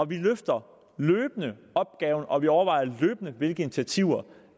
vi løfter løbende opgaven og vi overvejer løbende hvilke initiativer